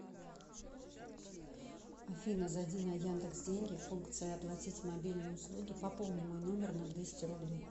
афина зайди на яндекс деньги функция оплатить мобильные услуги пополни мой номер на двести рублей